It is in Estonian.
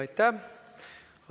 Aitäh!